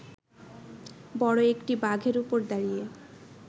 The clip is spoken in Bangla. বড় একটি বাঘের ওপর দাঁড়িয়ে